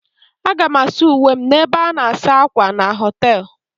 Aga m asa uwe m n'ebe a na-asa ákwà na họtel.